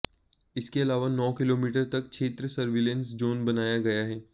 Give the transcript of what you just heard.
इसके अलावा नौ किलोमीटर तक क्षेत्र सर्विलांस जोन बनाया गया है